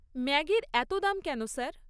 ম্যাগির এত দাম কেন, স্যার?